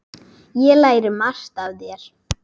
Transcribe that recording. Ég lærði margt af þér.